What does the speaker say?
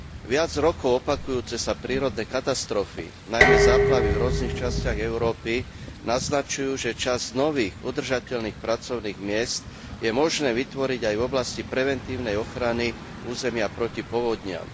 Viac rokov opakujúce sa prírodné katastrofy, najmä záplavy v rôznych častiach Európy, naznačujú, že časť nových udržateľných pracovných miest je možné vytvoriť aj v oblasti preventívnej ochrany územia proti povodniam.